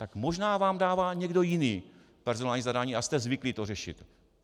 Tak možná vám dává někdo jiný personální zadání a jste zvyklý to řešit.